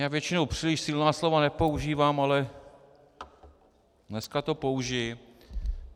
Já většinou příliš silná slova nepoužívám, ale dneska je použiji.